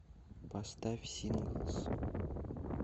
поставь синглс